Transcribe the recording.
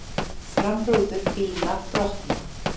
Framrúður bíla brota